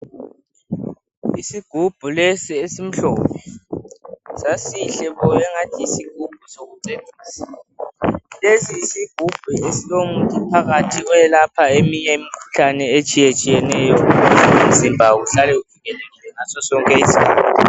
Isigubhu lesi esimhlophe sasihle bo angathi yisigubhu sokucecisa. Lesi isigubhu ngesilomuthi phakathi oyelaphayo eminye imikhuhalne etshiyetshiyeneyo umzimba uhlale uqinile ngasos sonke isikhathi.